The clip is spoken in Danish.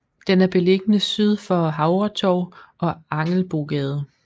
Den er beliggende syd for Havretorv og Angelbogade